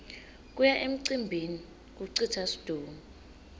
kuya emcimbini kucitsa situnge